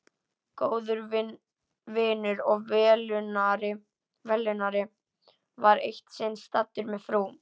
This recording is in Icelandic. Góður vinur og velunnari var eitt sinn staddur með frú